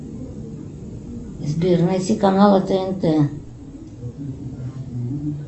сбер найти каналы тнт